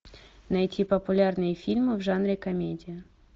найти популярные фильмы в жанре комедия